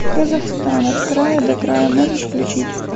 казахстан от края до края можешь включить